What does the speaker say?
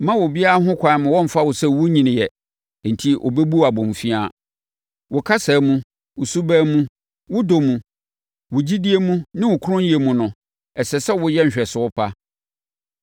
Mma obiara ho kwan mma ɔmmfa wo sɛ wonnyiniiɛ enti ɔbɛbu wo abomfiaa. Wo kasa mu, wo suban mu, wo dɔ mu, wo gyidie mu ne wo kronnyɛ mu no, ɛsɛ sɛ woyɛ nhwɛso pa.